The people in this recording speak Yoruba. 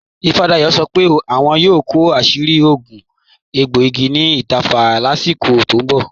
Ìfádàyọ̀ sọ́ pé àwọn yóò kọ àṣìrí òogún ègbòìgì ni ítẹ̀fà láṣíkò tó n bọ̀